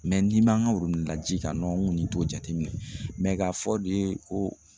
n'i man kan la ji kan n kɔni t'o jateminɛ mɛ k'a fɔ de ko